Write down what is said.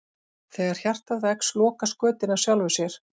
Þegar hjartað vex lokast götin af sjálfu sér.